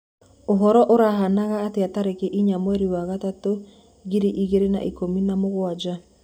uhoro urahanaga atĩa tarĩkĩ ĩnya mwerĩ wa gatatu ngiri ĩgĩrĩ na ĩkũmĩ na mũgwanja